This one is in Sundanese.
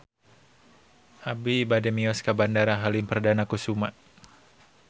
Abi bade mios ka Bandara Halim Perdana Kusuma